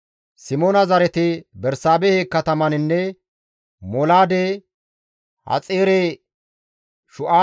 Simoona zareti Bersaabehe katamaninne Molaade, Haxaare-Shu7aale,